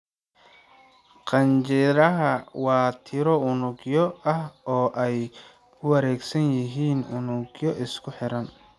Qanjidhaha waa tiro unugyo ah oo ay ku wareegsan yihiin unug isku xiran.